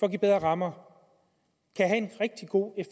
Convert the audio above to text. at give bedre rammer kan have en rigtig god